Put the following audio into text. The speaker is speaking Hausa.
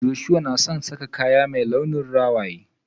Joshua na son sa kaya mai launin rawaye.